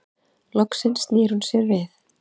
Loks snýr hún sér við.